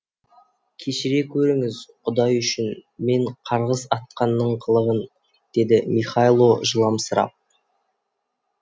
кешіре көріңіз құдай үшін мен қарғыс атқанның қылығын деді михайло жыламсырап